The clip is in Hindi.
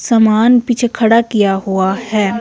सामान पीछे खड़ा किया हुआ हैं।